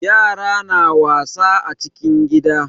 Yara na wasa a cikin gida.